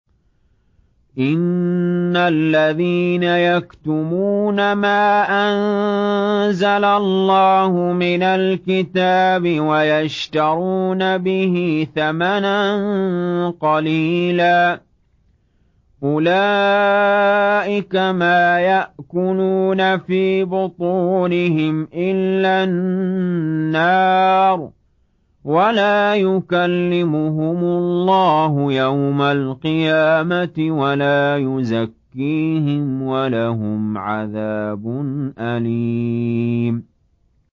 إِنَّ الَّذِينَ يَكْتُمُونَ مَا أَنزَلَ اللَّهُ مِنَ الْكِتَابِ وَيَشْتَرُونَ بِهِ ثَمَنًا قَلِيلًا ۙ أُولَٰئِكَ مَا يَأْكُلُونَ فِي بُطُونِهِمْ إِلَّا النَّارَ وَلَا يُكَلِّمُهُمُ اللَّهُ يَوْمَ الْقِيَامَةِ وَلَا يُزَكِّيهِمْ وَلَهُمْ عَذَابٌ أَلِيمٌ